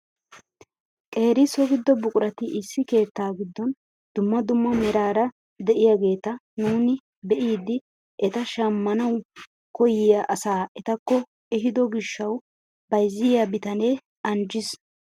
Qeeri so giddo buqurati issi keettaa giddon dumma dumma meraara de'iyaageta nuuni be'idi eta shammawu koyiyaa asaa etakko ehiido gishshawu bayzziyaa bitanee anjjiis!